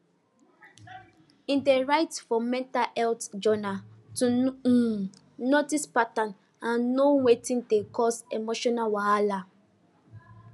he dey write for mental health journal to um notice pattern and know wetin dey cause emotional wahala